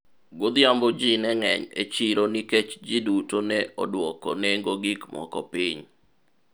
godhiambo ji ne ng'eny e chiro nikech jiduto ne odwoko nengo gik moko piny